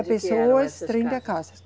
Pessoas, trinta casas.